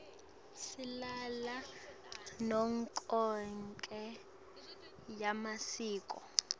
silalela nemicuco yemasiko